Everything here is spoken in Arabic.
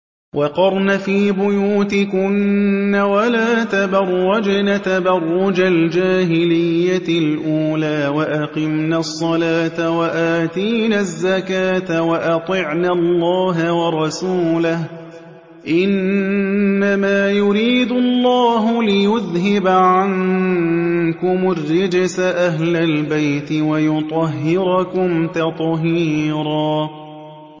وَقَرْنَ فِي بُيُوتِكُنَّ وَلَا تَبَرَّجْنَ تَبَرُّجَ الْجَاهِلِيَّةِ الْأُولَىٰ ۖ وَأَقِمْنَ الصَّلَاةَ وَآتِينَ الزَّكَاةَ وَأَطِعْنَ اللَّهَ وَرَسُولَهُ ۚ إِنَّمَا يُرِيدُ اللَّهُ لِيُذْهِبَ عَنكُمُ الرِّجْسَ أَهْلَ الْبَيْتِ وَيُطَهِّرَكُمْ تَطْهِيرًا